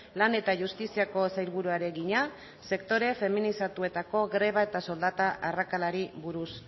lan eta justiziako sailburuari egina sektore feminizatuetako greba eta soldata arrakalari buruz